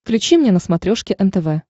включи мне на смотрешке нтв